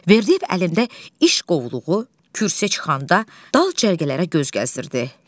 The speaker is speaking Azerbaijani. Verdiyev əlində iş qovluğu kürsüyə çıxanda dal cərgələrə göz gəzdirdi.